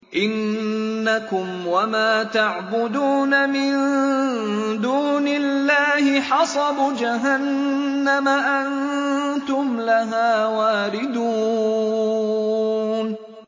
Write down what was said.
إِنَّكُمْ وَمَا تَعْبُدُونَ مِن دُونِ اللَّهِ حَصَبُ جَهَنَّمَ أَنتُمْ لَهَا وَارِدُونَ